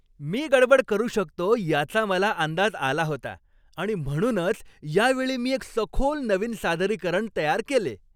मी गडबड करू शकतो याचा मला अंदाज आला होता आणि म्हणूनच यावेळी मी एक सखोल नवीन सादरीकरण तयार केले.